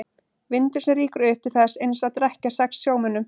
Vindur sem rýkur upp til þess eins að drekkja sex sjómönnum.